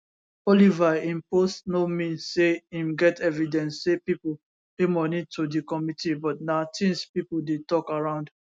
oliver im post no mean say im get evidence say pipo pay money to di committee but na tins pipo dey tok around